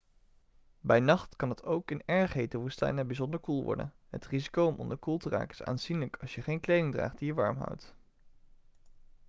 bij nacht kan het ook in erg hete woestijnen bijzonder koel worden het risico om onderkoeld te raken is aanzienlijk als je geen kleding draagt die je warm houdt